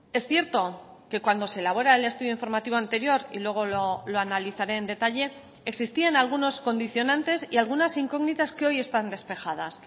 es cierto que cuando se elabora el estudio informativo anterior y luego lo analizaré en detalle existían algunos condicionantes y algunas incógnitas que hoy están despejadas